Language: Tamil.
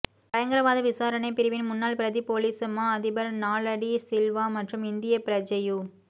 பயங்கரவாத விசாரணைப் பிரிவின் முன்னாள் பிரதிப் பொலிஸ் மா அதிபர் நாலக டி சில்வா மற்றும் இந்திய பிரஜையு